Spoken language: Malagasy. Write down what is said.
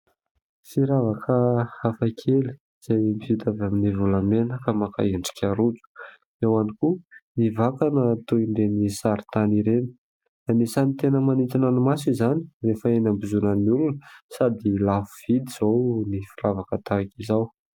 Firavaka hafakely izay vita avy amin'ny volamena ka maka endrika rojo. Eo ihany koa ny vakana toy ireny sary tany ireny. Asany tena manintona ny maso izany rehefa eny ambozonan'ny olona sady lafo vidy izao ny firavaka tahaka izao.